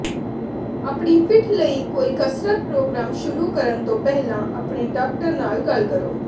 ਆਪਣੀ ਪਿੱਠ ਲਈ ਕੋਈ ਕਸਰਤ ਪ੍ਰੋਗਰਾਮ ਸ਼ੁਰੂ ਕਰਨ ਤੋਂ ਪਹਿਲਾਂ ਆਪਣੇ ਡਾਕਟਰ ਨਾਲ ਗੱਲ ਕਰੋ